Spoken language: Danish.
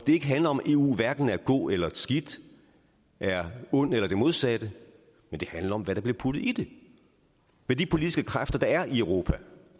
det ikke handler om at eu hverken er god eller skidt er ond eller det modsatte men det handler om hvad der bliver puttet i det hvad de politiske kræfter der er i europa